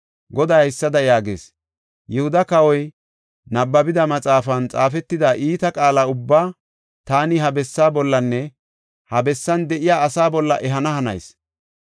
Goday haysada yaagees; ‘Yihuda kawoy nabbabida maxaafan xaafetida iita qaala ubbaa taani ha bessaaninne iyan de7iya asaa bolla ehana hanayis.